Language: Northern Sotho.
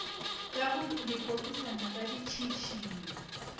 ka go lepokisana la ditšhišinyo